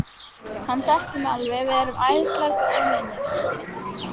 Hann þekkir mig alveg, við erum æðislega góðir vinir.